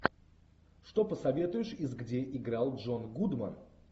что посоветуешь из где играл джон гудман